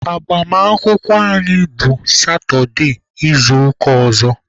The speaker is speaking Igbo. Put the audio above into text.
Agbamakwụkwọ anyị bụ satụde izuụka ọzọ.